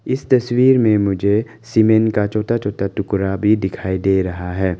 इस तस्वीर में मुझे सीमेंट का छोटा छोटा टुकड़ा भी दिखाई दे रहा है।